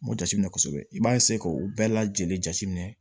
N b'o jateminɛ kosɛbɛ i b'a k'o bɛɛ lajɛlen jateminɛ